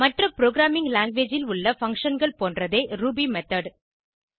மற்ற programming language ல் உள்ள functionகள் போன்றதே ரூபி மெத்தோட்